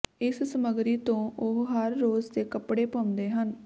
ਇਸ ਸਮੱਗਰੀ ਤੋਂ ਉਹ ਹਰ ਰੋਜ਼ ਦੇ ਕੱਪੜੇ ਪਾਉਂਦੇ ਹਨ